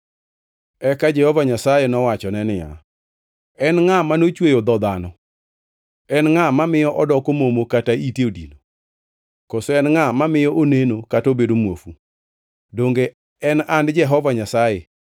Eka Jehova Nyasaye nowachone niya, “En ngʼa manochweyo dho dhano? En ngʼa mamiyo odoko momo kata ite odino? Koso en ngʼa mamiyo oneno kata obedo muofu? Donge en an Jehova Nyasaye?